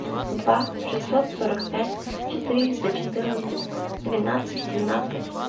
два шестьсот сорок пять четыреста четырнадцать двенадцать семнадцать